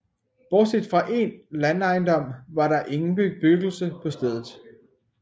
Bortset fra en landejendom var der ingen bebyggelse på stedet